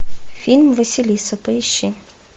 фильм василиса поищи